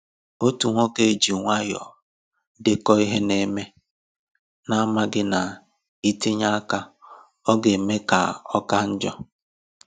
Otu nwoke ji nwayọọ dèkò ihe na-eme, na amaghị ná itinye aka ọga eme ya ka ọka njọ.